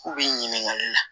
U bi ɲininkali la